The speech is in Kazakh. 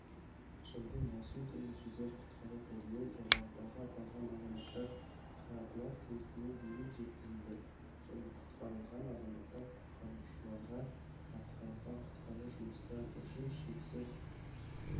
жылдың маусым күні жедел-құтқару тобымен жоғарыда аталған азаматтар қарабұлақ кентіне дейін жеткізілді және құтқарылған азаматтар құтқарушыларға атқарылған құтқару жұмыстары үшін шексіз